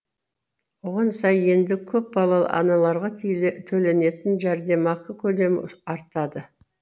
оған сай енді көпбалалы аналарға төленетін жәрдемақы көлемі артады